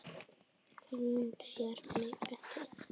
Hún sér mig ekki.